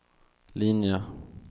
linje